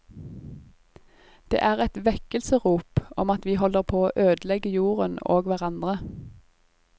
Det er et vekkelsesrop om at vi holder på å ødelegge jorden og hverandre.